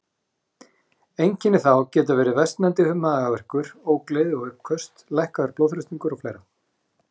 Einkenni þá geta verið versnandi magaverkur, ógleði og uppköst, lækkaður blóðþrýstingur og fleira.